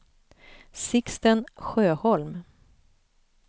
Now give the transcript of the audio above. Sixten Sjöholm